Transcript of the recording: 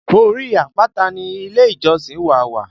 Orí àpáta ni ilé ìjọsìn wá wà